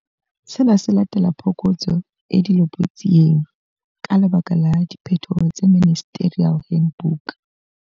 Sena se latela phokotso e dilopotsieng, ka lebaka la diphetoho tse Ministerial Handbook.